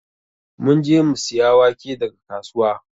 Mun je mu siya wake daga kasuwa.